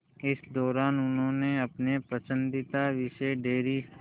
इस दौरान उन्होंने अपने पसंदीदा विषय डेयरी